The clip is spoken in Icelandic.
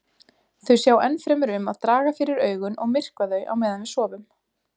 Þau sjá ennfremur um að draga fyrir augun og myrkva þau á meðan við sofum.